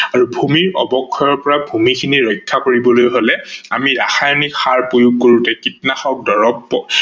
আৰু ভূমি অৱক্ষয়ৰ পৰা ভূমি খিনি ৰক্ষা কৰিবলৈ হলে আমি ৰাসায়নিক সাৰ প্ৰয়োগ কৰোতে কীটনাশক দৰবক